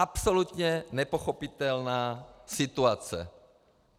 Absolutně nepochopitelná situace.